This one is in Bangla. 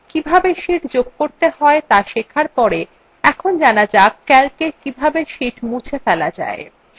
কিভাবে sheets যোগ করতে হয় ত়া শেখার পর এখন জানা যাক calcwe কিভাবে sheets মুছে ফেলা যায়